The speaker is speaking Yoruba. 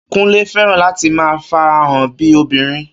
Kúnlé fẹ́ràn láti máa farahàn bíi obìnrin